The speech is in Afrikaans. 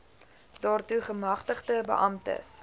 daartoe gemagtigde beamptes